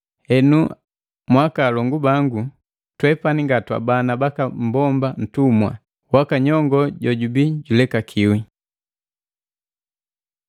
Henu, akaalongu bangu, twepani nga twabana baka mmbomba ntumwa, ila waka nyongoo jojubi julekakiwi.